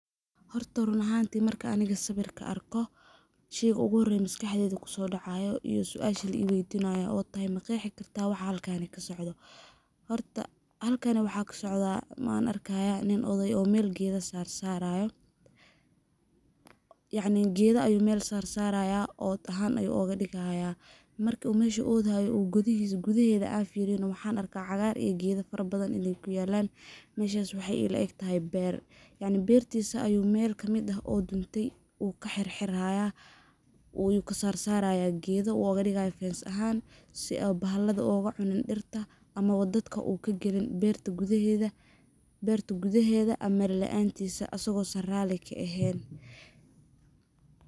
Horta run ahanti marki aniga sawirka arko, shey ugu hore maskaxdeyda kuysodacayo ama suasha li weydinayo oo tahay maqexi kartah waxaa halkan kasocdaah . Horta, halkani waxaa kasocdaah on arkayaa nin odey oo mel geda sar sarayo, yacni gedha ayuu mel sar sarayah od ahaan ayuu ogadigaya, marki uu meshi uu odayo gudahedha an firiyo na waxaan arkaah cagar iyo gedha fara bathan in ay kuyalan , meshas waxaay ila egtahay ber, yacni bertisa ayuu mel kamid ah oo duntey uu ka xirxiraya uu nkasarsaraya gedha uu ogadigayo fence ahan si oo bahalada ogacunin dirta ama wa dadka uu kagalin berta gudaheda amar laantisa asago san rali kaehen.